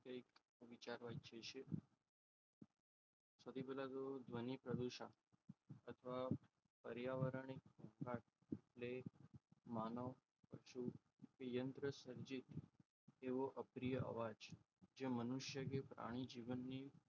ધ્વનિ પ્રદૂષણ. અથવા પર્યાવરણીય એ માનવ પછી યંત્ર સર્જિત એવો અપ્રિય અવાજ જે મનુષ્ય કે પ્રાણી ની જીવનની,